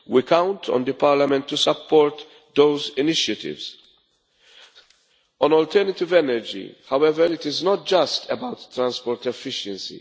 We count on Parliament to support those initiatives. On alternative energy however, it is not just about transport efficiency.